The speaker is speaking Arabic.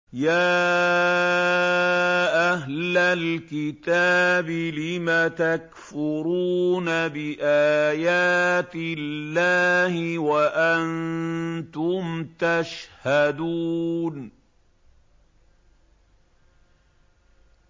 يَا أَهْلَ الْكِتَابِ لِمَ تَكْفُرُونَ بِآيَاتِ اللَّهِ وَأَنتُمْ تَشْهَدُونَ